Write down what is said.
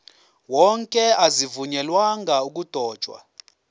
wonke azivunyelwanga ukudotshwa